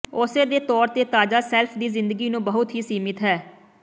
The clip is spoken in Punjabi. ਉਸੇ ਦੇ ਤੌਰ ਤੇ ਤਾਜ਼ਾ ਸ਼ੈਲਫ ਦੀ ਜ਼ਿੰਦਗੀ ਨੂੰ ਬਹੁਤ ਹੀ ਸੀਮਤ ਹੈ